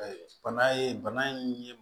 Bana ye bana in ye